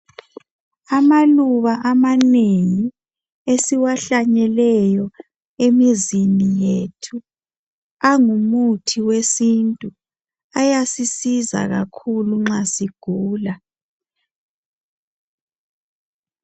Amaluba amanengi esiwahlanyeleyo emizini yethu angumuthi wesintu. Ayasisiza kakhulu nxa sigula .